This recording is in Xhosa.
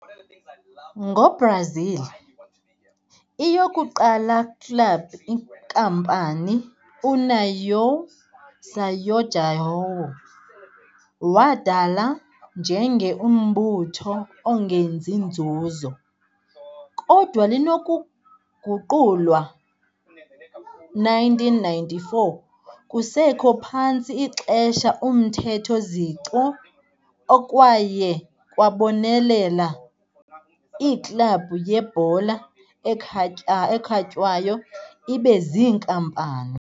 Ngo-Brazil, i-yokuqala club-inkampani União São João, wadala njenge umbutho ongenzi nzuzo, kodwa linokuguqulwa 1994, kusekho phantsi ixesha uMthetho Zico, Okwaye kwabonelela iiklabhu yebhola ekhatywayo ibe ziinkampani.